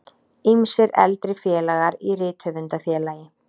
Ýmsir eldri félagar í Rithöfundafélagi